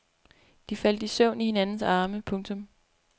De faldt i søvn i hinandens arme. punktum